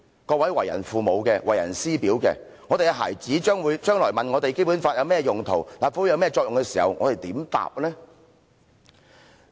各位為人父母的，為人師表的，如果我們孩子將來問我們《基本法》有甚麼用途，立法會有甚麼作用的時候，我們如何回答呢？